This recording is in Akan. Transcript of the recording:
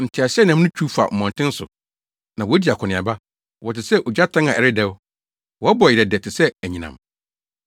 Nteaseɛnam no twiw fa mmɔnten so, na wodi akɔneaba. Wɔte sɛ ogyatɛn a ɛredɛw; wɔbɔ yerɛdɛ te sɛ anyinam.